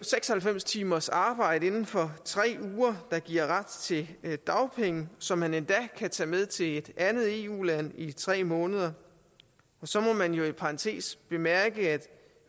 seks og halvfems timers arbejde inden for tre uger der giver ret til dagpenge som man endda kan tage med til et andet eu land i tre måneder og så må man i parentes bemærke at